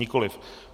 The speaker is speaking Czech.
Nikoliv.